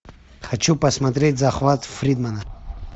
хочу посмотреть захват фридмана